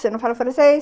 Você não fala francês?